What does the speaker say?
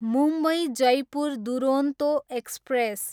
Mumbai, Jaipur Duronto express